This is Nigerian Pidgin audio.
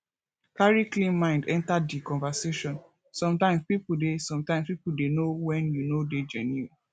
carry clean mind enter di conversation sometimes pipo dey sometimes pipo dey know when you no dey genuine